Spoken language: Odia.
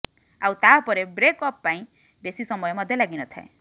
ଆଉ ତା ପରେ ବ୍ରେକ ଅପ୍ ପାଇଁ ବେଶୀ ସମୟ ମଧ୍ୟ ଲାଗିନଥାଏ